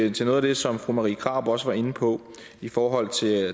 ind til noget af det som fru marie krarup også var lidt inde på i forhold til